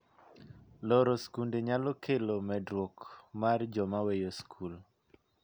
Loro skunde nyalo kelo medruok mar joma weyo skul.